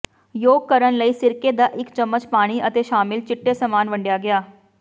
yolk ਕਰਨ ਲਈ ਸਿਰਕੇ ਦਾ ਇੱਕ ਚਮਚ ਪਾਣੀ ਅਤੇ ਸ਼ਾਮਿਲ ਚਿੱਟੇ ਸਮਾਨ ਵੰਡਿਆ ਗਿਆ